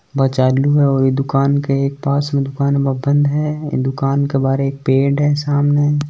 वा चालू है और ये दुकान के एक पास मे दुकान मे बंद है ये दुकान के बाहर एक पेड़ है सामने--